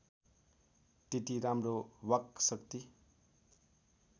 त्यति राम्रो वाक्शक्ति